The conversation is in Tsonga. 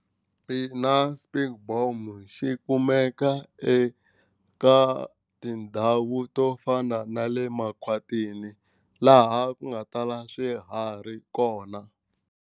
Ina spekboom xi kumeka eka tindhawu to fana na le makhwatini laha ku nga tala swiharhi kona.